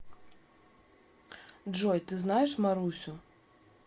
джой ты знаешь марусю